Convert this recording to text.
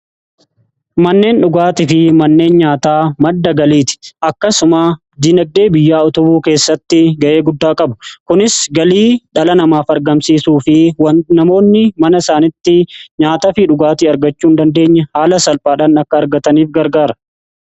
Manneen dhugaatii fi manneen nyaataa madda galiiti . Akkasuma dinagdee biyyaa utubuu keessatti ga'ee guddaa qabu. Kunis galii dhala namaaf argamsiisuu fi waan namoonni mana isaanitti nyaata fi dhugaatii argachuu hin dandeenye haala salphaadhaan akka argataniif gargaara.